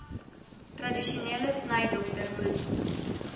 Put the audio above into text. tradisionele snydokter moet